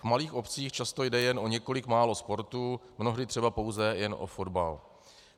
V malých obcích často jde jen o několik málo sportů, mnohdy třeba pouze jen o fotbal.